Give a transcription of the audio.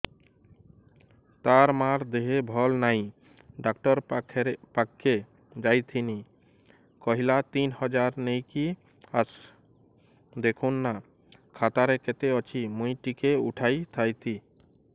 ତାର ମାର ଦେହେ ଭଲ ନାଇଁ ଡାକ୍ତର ପଖକେ ଯାଈଥିନି କହିଲା ତିନ ହଜାର ନେଇକି ଆସ ଦେଖୁନ ନା ଖାତାରେ କେତେ ଅଛି ମୁଇଁ ଟିକେ ଉଠେଇ ଥାଇତି